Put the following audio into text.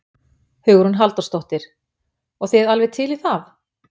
Hugrún Halldórsdóttir: Og þið alveg til í það?